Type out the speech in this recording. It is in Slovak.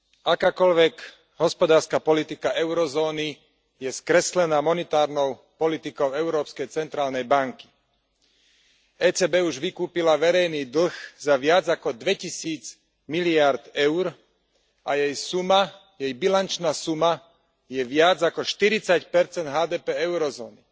Akákoľvek hospodárska politika eurozóny je skreslená monetárnou politikou Európskej centrálnej banky. ECB už vykúpila verejný dlh za viac ako dvetisíc miliárd EUR a jej suma, jej bilančná suma, je viac ako štyridsať percent HDP eurozóny.